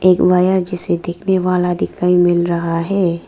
एक वॉयर जिसे देखने वाला दिखाई मिल रहा है।